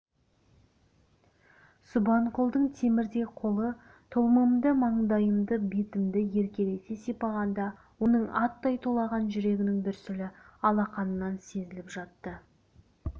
субанқұлдың темірдей қолы тұлымымды маңдайымды бетімді еркелете сипағанда оның аттай тулаған жүрегінің дүрсілі алақанынан сезіліп жатты